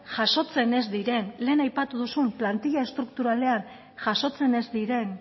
jasotzen ez diren lehen aipatu duzun plantilla estrukturalean jasotzen ez diren